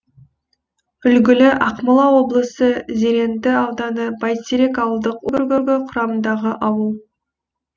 үлгілі ақмола облысы зеренді ауданы бәйтерек ауылдық округі құрамындағы ауыл